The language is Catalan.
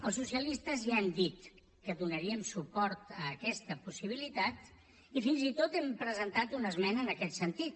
els socialistes ja hem dit que donaríem suport a aquesta possibilitat i fins i tot hem presentat una esmena en aquest sentit